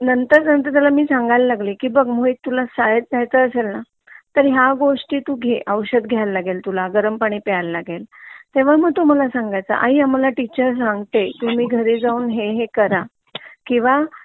नंतर नंतर सांगायला लागले बघ मोहित तुला शाळेत जायच असेल ना तर ह्या गोष्टी तू घे औषद घ्यायला लागेल किंवा गरम पाणी प्यायला लागेल तेव्हा मग तो मला सांगायचा की आई टीचर आम्हाला सांगते घरी जाऊन हे हे करा किंवा